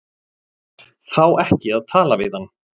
Fá ekki að tala við hann